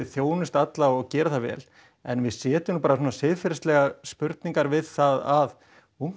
þjónusta alla og gera það vel en við setjum nú bara svona siðferðislegar spurningar við það að ungt